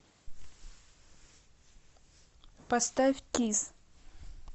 поставь кисс